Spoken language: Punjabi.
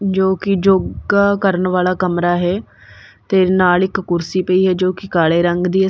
ਜੋਕੀ ਯੋਗ਼ਾ ਕਰਨ ਵਾਲਾ ਕਮਰਾ ਹੈ ਤੇ ਨਾਲ ਇੱਕ ਕੁਰਸੀ ਪਈ ਹੈ ਜੋਕਿ ਕਾਲੇ ਰੰਗ ਦੀ ਹੈ।